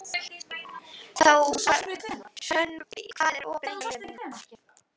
Hrönn, hvað er opið lengi á laugardaginn?